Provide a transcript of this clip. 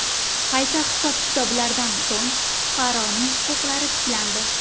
Qayta hisob-kitoblardan so‘ng, fuqaroning huquqlari tiklandi.